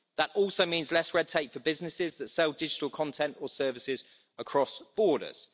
That also means less red tape for businesses that sell digital content or services across borders.